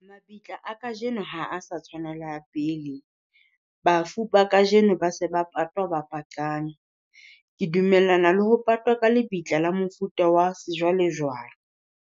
Mabitla a kajeno ha a sa tshwana le a pele, bafu ba kajeno ba se ba patwa ba patlame. Ke dumellana le ho patwa ka lebitla la mofuta wa sejwalejwale.